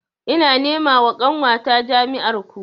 Ina nema wa ƙanwata jami'ar ku